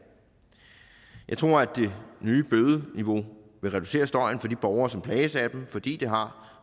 jeg tror at det nye bødeniveau vil reducere støjen for de borgere som plages af den fordi det har